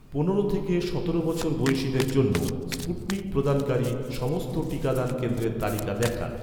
পনেরো থেকে সতেরো বছর বয়সিদের জন্য, স্পুটনিক প্রদানকারী, সমস্ত টিকাদান কেন্দ্রের তালিকা দেখান